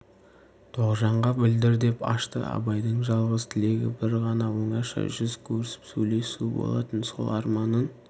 тоғжанға білдір деп ашты абайдың жалғыз тілегі бір ғана оңашада жүз көрісіп сөйлесу болатын сол арманын